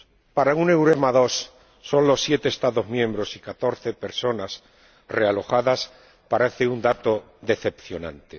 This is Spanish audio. Para un EUREMA II, solo 7 Estados miembros y 14 personas realojadas parece un dato decepcionante.